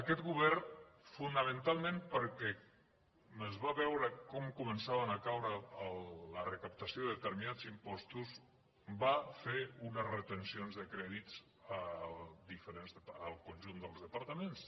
aquest govern fonamentalment perquè es va veure com començava a caure la recaptació de determinats impostos va fer unes retencions de crèdits al conjunt dels departaments